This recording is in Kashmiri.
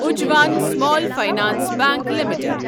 Ujjivan small finance bank limited